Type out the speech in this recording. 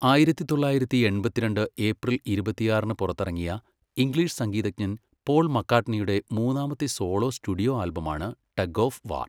ആയിരത്തി തൊള്ളായിരത്തി എൺപത്തിരണ്ട് ഏപ്രിൽ ഇരുപത്തിയാറിന് പുറത്തിറങ്ങിയ ഇംഗ്ലീഷ് സംഗീതജ്ഞൻ പോൾ മക്കാട്ട്നിയുടെ മൂന്നാമത്തെ സോളോ സ്റ്റുഡിയോ ആൽബമാണ് ടഗ് ഓഫ് വാർ.